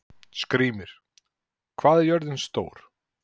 Skrýmir, hvað er jörðin stór?